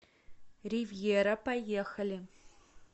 ривьера поехали